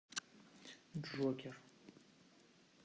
джокер